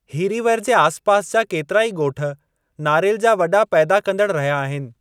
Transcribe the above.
हीरीवर जे आस पास जा केतिराई ॻोठ नारेल जा वॾा पैदा कंदड़ु रहिया आहिनि।